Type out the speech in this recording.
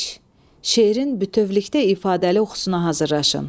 Şeirin bütövlükdə ifadəli oxusuna hazırlaşın.